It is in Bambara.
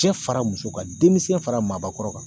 Cɛ fara muso kan denmisɛn fara maabakɔrɔ kan